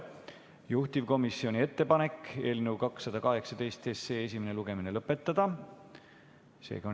Juhtivkomisjoni ettepanek on eelnõu 218 esimene lugemine lõpetada.